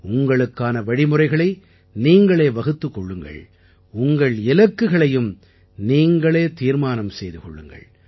உங்களுக்கான வழிமுறைகளை நீங்களே வகுத்துக் கொள்ளுங்கள் உங்கள் இலக்குகளையும் நீங்களே தீர்மானம் செய்து கொள்ளுங்கள்